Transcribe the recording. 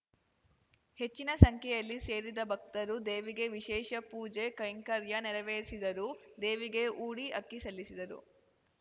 ಹೆಚ್ಚಿನ ಸಂಖ್ಯೆಯಲ್ಲಿ ಸೇರಿದ್ದ ಭಕ್ತರು ದೇವಿಗೆ ವಿಶೇಷ ಪೂಜೆ ಕೈಂಕರ್ಯ ನೆರವೇರಿಸಿದರು ದೇವಿಗೆ ಊಡಿ ಅಕ್ಕಿ ಸಲ್ಲಿಸಿದರು